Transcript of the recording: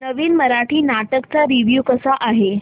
नवीन मराठी नाटक चा रिव्यू कसा आहे